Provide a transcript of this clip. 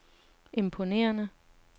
imponerende